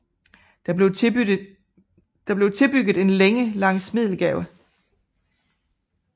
Der blev tilbygget en længe langs Middelgade